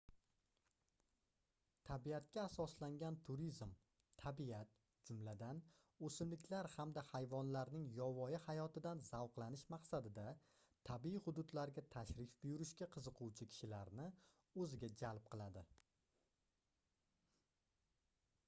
tabiatga asoslangan turizm tabiat jumladan oʻsimliklar hamda hayvonlarning yovvoyi hayotidan zavqlanish maqsadida tabiiy hududlarga tashrif buyurishga qiziquvchi kishilarni oʻziga jalb qiladi